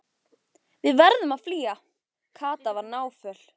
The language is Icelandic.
Við verðum að flýja. Kata var náföl.